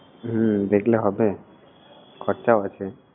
হমম, দেখলে হবে, খরচাও আছে।